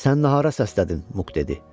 Sən də hara səslədin, Muk dedi.